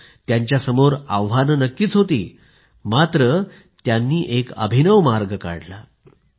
हो त्यांच्यासमोर आव्हानं नक्कीच होती मात्र त्यांनी एक अभिनव मार्ग काढला